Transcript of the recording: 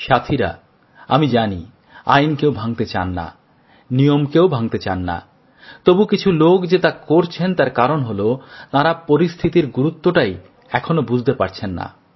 সাথীরা আমি জানি আইন কেউ ভাঙতে চান না নিয়মকেও ভাঙতে চান না তবু কিছু লোক যে তা করছেন তার কারণ হল তাঁরা পরিস্থিতির গুরুত্বটাই এখনও বুঝতে পারছেন না